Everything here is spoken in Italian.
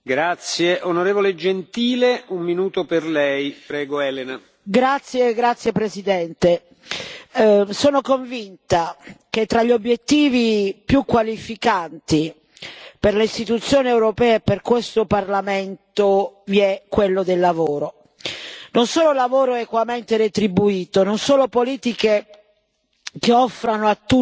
Signor Presidente, onorevoli colleghi, sono convinta che tra gli obiettivi più qualificanti per le istituzioni europee e per questo Parlamento vi sia quello del lavoro non solo lavoro equamente retribuito, non solo politiche che offrano a tutti gli europei la possibilità di costruire il proprio progetto di vita,